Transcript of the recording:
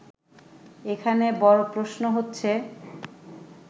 এখানে বড় প্রশ্ন হচ্ছে